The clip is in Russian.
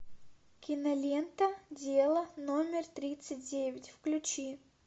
кинолента дело номер тридцать девять включи